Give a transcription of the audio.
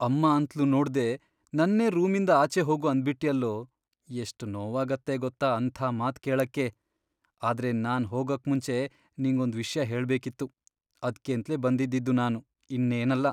ಅಮ್ಮ ಅಂತ್ಲೂ ನೋಡ್ದೇ ನನ್ನೇ ರೂಮಿಂದ ಆಚೆ ಹೋಗು ಅಂದ್ಬಿಟ್ಯಲ್ಲೋ, ಎಷ್ಟ್ ನೋವಾಗತ್ತೆ ಗೊತ್ತಾ ಅಂಥ ಮಾತ್ ಕೇಳಕ್ಕೆ. ಆದ್ರೆ ನಾನ್ ಹೋಗಕ್ಮುಂಚೆ ನಿಂಗೊಂದ್ ವಿಷ್ಯ ಹೇಳ್ಬೇಕಿತ್ತು. ಅದ್ಕೇಂತ್ಲೇ ಬಂದಿದ್ದಿದ್ದು ನಾನು, ಇನ್ನೇನಲ್ಲ.